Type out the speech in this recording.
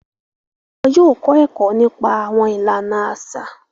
Wọn yóò kọ ẹkọ nípa awọn ìlànà aṣa.